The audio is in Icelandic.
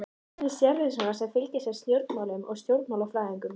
Hvernig sérð þú svona sem fylgist með stjórnmálum sem stjórnmálafræðingur?